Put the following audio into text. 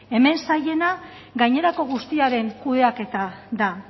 hemen zailena gainerako guztiaren kudeaketa da